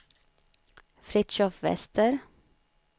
Fritiof Wester